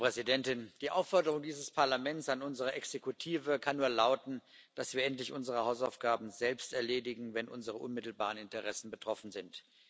Frau Präsidentin! Die Aufforderung dieses Parlaments an unsere Exekutive kann nur lauten, dass wir endlich unsere Hausaufgaben selbst erledigen, wenn unsere unmittelbaren Interessen betroffen sind.